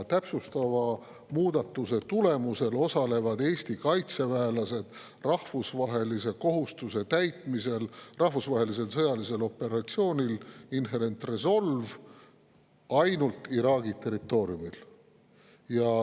Täpsustava muudatuse tulemusel osalevad Eesti kaitseväelased rahvusvaheliste kohustuste täitmisel rahvusvahelisel sõjalisel operatsioonil Inherent Resolve ainult Iraagi territooriumil.